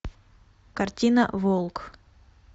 картина волк